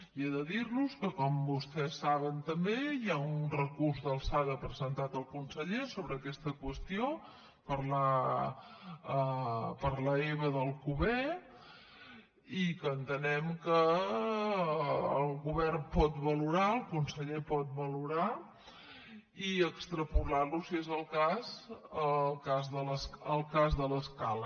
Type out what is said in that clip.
i he de dir los que com vostès saben també hi ha un recurs d’alçada presentat al conseller sobre aquesta qüestió per l’eba d’alcover i que entenem que el govern pot valorar el conseller pot valorar lo i extrapolar lo si és el cas el cas de l’escala